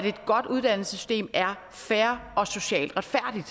godt uddannelsessystem er fair og socialt retfærdigt